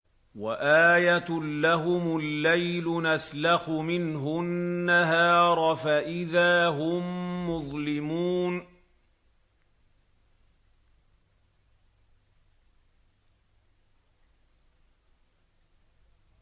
وَآيَةٌ لَّهُمُ اللَّيْلُ نَسْلَخُ مِنْهُ النَّهَارَ فَإِذَا هُم مُّظْلِمُونَ